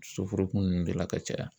Soforokun nunnu de la ka caya